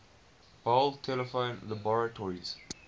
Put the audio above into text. bell telephone laboratories